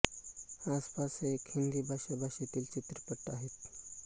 आस पास हा एक हिंदी भाषा भाषेतील चित्रपट आहे